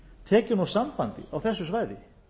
tekin úr sambandi á þessu svæði